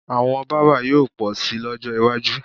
Àwọn bábà yóò pọ̀ síi lọ́jọ́ iwájú